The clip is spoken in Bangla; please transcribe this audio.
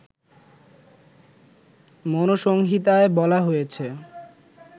মনুসংহিতায় বলা হয়েছে